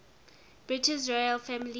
british royal family